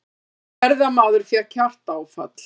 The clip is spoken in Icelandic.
Ferðamaður fékk hjartaáfall